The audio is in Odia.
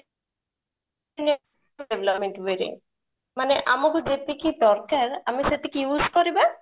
ମାନେ ଆମକୁ ଯେତିକି ଦରକାର ଆମେ ସେତିକି use କରିବା